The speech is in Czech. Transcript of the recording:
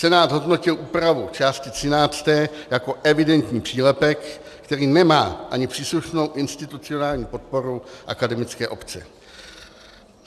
Senát zhodnotil úpravu části 13. jako evidentní přílepek, který nemá ani příslušnou institucionální podporu akademické obce.